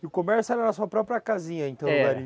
E o comércio era na sua própria casinha, então? Era